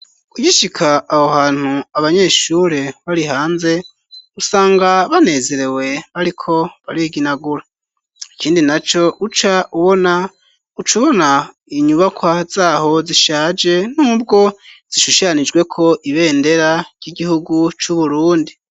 Ugishika aho hantu abanyeshure bari hanze usanga banezerewe bariko bariginagura ikindi naco uca ubona ucubona inyubakwa zaho zishaje n'ubwo zishushanijweko ibendera ry'igihugu c'u Burundi.